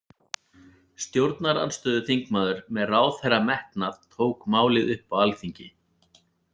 Stjórnarandstöðuþingmaður með ráðherrametnað tók málið upp á alþingi.